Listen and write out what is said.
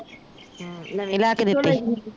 ਅਹ ਨਵੀਂ ਲੈ ਕੇ ਦਿੱਤੀ